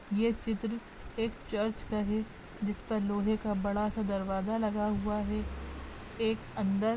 ये चित्र एक चर्च का है जिस पर लोहे का बड़ा सा दरवाज़ा लगा हुआ है एक अंदर--